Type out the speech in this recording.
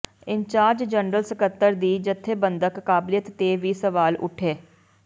incharge general ਸਕੱਤਰ ਦੀ ਜਥੇਬੰਦਕ ਕਾਬਲੀਅਤ ਤੇ ਵੀ ਸਵਾਲ ਉਠੇ